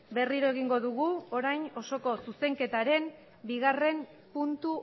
berriro egingo dugu orain osoko zuzenketaren bigarrena puntu